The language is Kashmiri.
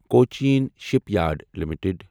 Cochin shipyard limited